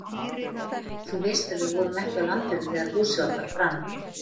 Þú veist að við vorum ekki á landinu þegar húsið okkar brann?